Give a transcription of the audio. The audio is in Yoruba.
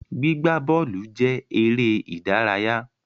Gbígbaí bọ́ọ́lù jẹ èrè ìdárayá